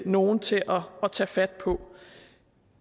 nogen til at tage fat på